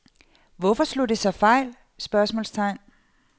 Hvorfor slog det så fejl? spørgsmålstegn